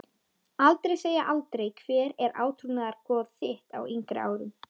Aldrei segja aldrei Hver var átrúnaðargoð þitt á yngri árum?